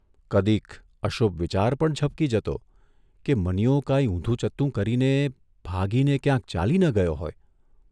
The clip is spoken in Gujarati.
કદીક અશુભ વિચાર પણ ઝબકી જતો કે મનીયો કાંઇ ઊંધું ચત્તું કરીને ભાગીને ક્યાંક ચાલી ન ગયો હોય!